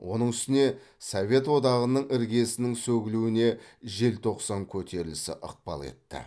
оның үстіне совет одағының іргесінің сөгілуіне желтоқсан көтерілісі ықпал етті